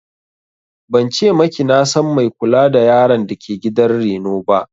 Ban ce maki na san mai kula da yaran dake gidan reno ba